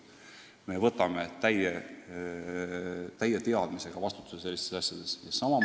Me võtame täie teadmisega vastutuse selliste asjade eest.